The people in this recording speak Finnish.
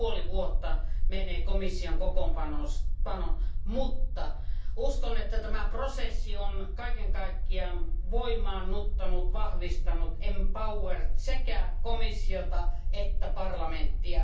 Mutta uskon, että tämä prosessi on kaiken kaikkiaan voimaannuttanut, vahvistanut, empowered sekä komissiota että parlamenttia.